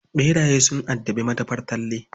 Ɓeraye sun addabi madafar Talle.